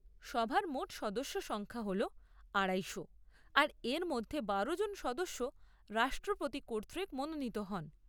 সভার মোট সদস্য সংখ্যা হল আড়াইশো আর এর মধ্যে বারো জন সদস্য রাষ্ট্রপতি কর্তৃক মনোনীত হন।